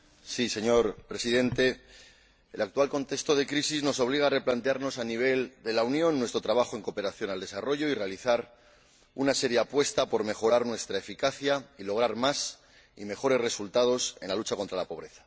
Señor Presidente, el actual contexto de crisis nos obliga a replantearnos en el ámbito de la Unión nuestro trabajo en cooperación al desarrollo y realizar una seria apuesta por mejorar nuestra eficacia y lograr más y mejores resultados en la lucha contra la pobreza.